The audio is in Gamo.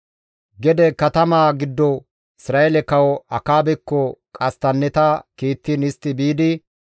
Gede katamaa giddo Isra7eele kawo Akaabekko qasttanneta kiittiin istti biidi,